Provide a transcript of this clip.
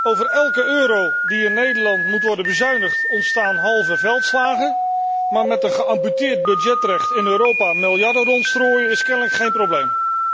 Over elke euro die in Nederland moet worden bezuinigd ontstaan halve veldslagen, maar met een geamputeerd budgetrecht in Europa miljarden rondstrooien, is kennelijk geen probleem.